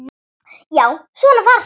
Já, svona var Sigga!